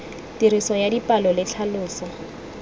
tiriso ya dipalo le tlhaloso